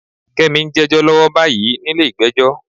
Kẹ́mi ń jẹ́jọ́ lọ́wọ́ báyìí nílé ìgbẹ́jọ́.